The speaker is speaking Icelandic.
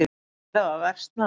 Þær hafa versnað.